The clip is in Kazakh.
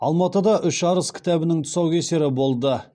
алматыда үш арыс кітабының тұсаукесері болды